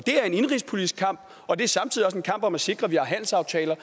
er en indenrigspolitisk kamp og det er samtidig en kamp om at sikre at vi har handelsaftaler